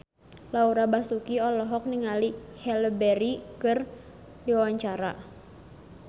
Laura Basuki olohok ningali Halle Berry keur diwawancara